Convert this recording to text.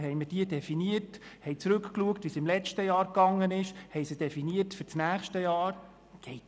Dort haben wir zurückgeschaut, wie es im letzten Jahr gelaufen ist und die Brennpunkte für das nächste Jahr definiert.